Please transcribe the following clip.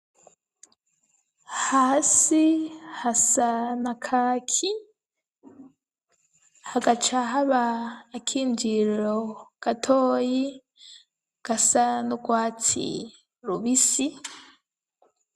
Hasi hasa na kaki, hagaca haba akinjiriro gatoyi gasa n'urwatsi rubisi.